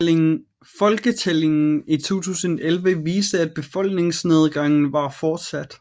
Folketællingen i 2011 viste at befolkningsnedgangen var fortsat